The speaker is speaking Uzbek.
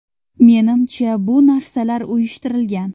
Menimcha, bu narsalar uyushtirilgan.